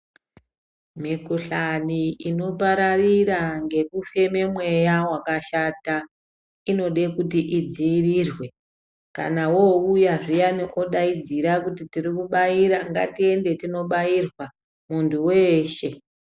Mikhuhlani inopararira ngekufeme mweya wakashata inode kuti idzivirirwe kana wowuya zviyani odayidzira kuti tiri kubayira ngatiende tinobayirwa mundu weshee.